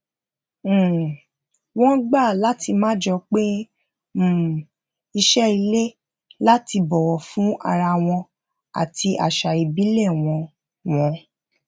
um wón gbà láti máa jo pin um iṣé ilé lati bọwọ fún ara wọn àti àṣà ìbílè wọn wọn